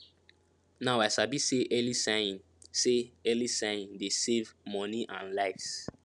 now i sabi say early sighing say early sighing dey save money and lives